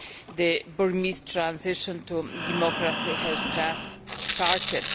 the Burmese transition to democracy has just started.